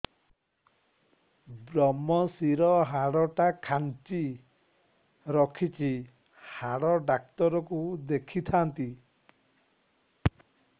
ଵ୍ରମଶିର ହାଡ଼ ଟା ଖାନ୍ଚି ରଖିଛି ହାଡ଼ ଡାକ୍ତର କୁ ଦେଖିଥାନ୍ତି